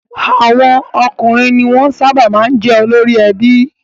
Àwọn ọkùnrin ni wọ́n sábà máa ń jẹ́ olórí ẹbí.